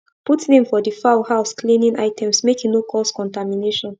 put name for de fowl house cleaning items make e no cause contamination